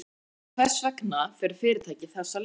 En hvers vegna fer fyrirtækið þessa leið?